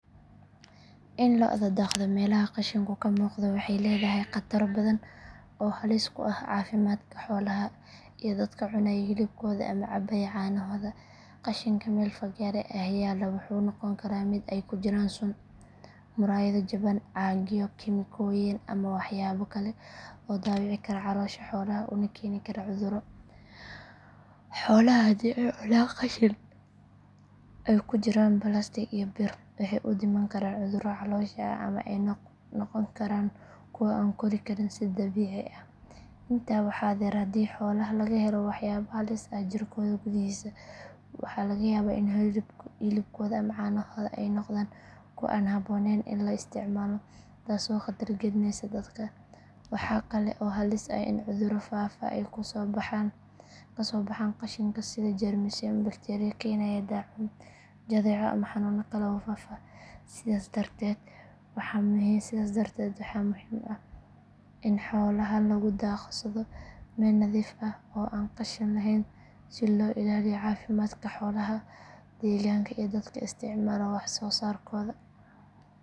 In loda daaqdo meelaha qashinku ka muuqdo waxay leedahay khataro badan oo halis ku ah caafimaadka xoolaha iyo dadka cunaya hilibkooda ama cabbaya caanahooda. Qashinka meel fagaare ah yaalla wuxuu noqon karaa mid ay ku jiraan sun, muraayado jaban, caagyo, kiimikooyin ama waxyaabo kale oo dhaawici kara caloosha xoolaha una keeni kara cudurro. Xoolaha haddii ay cunaan qashin ay ku jiraan balaastiig iyo bir, waxay u dhiman karaan cudurro caloosha ah ama ay noqon karaan kuwo aan u kori karin si dabiici ah. Intaa waxaa dheer, haddii xoolaha laga helo waxyaabo halis ah jirkooda gudihiisa, waxaa laga yaabaa in hilibkooda ama caanahooda ay noqdaan kuwo aan habboonayn in la isticmaalo taasoo khatar gelinaysa dadka. Waxa kale oo halis ah in cudurro faafa ay kasoo baxaan qashinka sida jeermisyo ama bakteeriyo keenaya daacuun, jadeeco ama xanuuno kale oo faafa. Sidaas darteed waxaa muhiim ah in xoolaha lagu daaqsado meel nadiif ah oo aan qashin lahayn si loo ilaaliyo caafimaadka xoolaha, deegaanka iyo dadka isticmaala wax soo saarkooda.